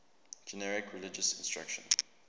generic religious instruction